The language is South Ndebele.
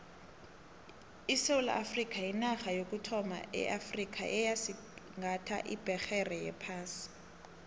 isewula afrikha yinarha yokuthoma eafrikha eyasigatha ibhegere yephasi